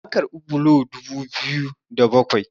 an karbi bulo dubu biyu da bakwai